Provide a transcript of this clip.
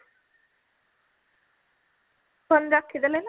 phone ରଖିଦେଲ ନା କଣ